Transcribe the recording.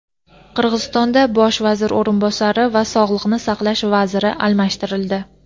Qirg‘izistonda bosh vazir o‘rinbosari va sog‘liqni saqlash vaziri almashtirildi.